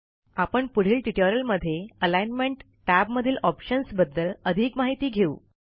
आपण पुढील ट्युटोरियलमध्ये अलाईनमेंट टॅबमधील ऑप्शन्सबद्दल अधिक माहिती घेऊ